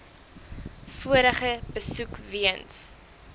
vorige besoek weens